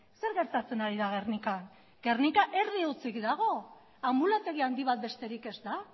zer gertatzen ari da gernikan gernika erdi hutsik dago anbulategi handi bat besterik ez da